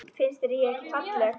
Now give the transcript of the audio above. Finnst þér ég ekki falleg?